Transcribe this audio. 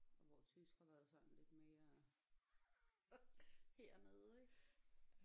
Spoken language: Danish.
Hvor tysk har været sådan lidt mere hernede ik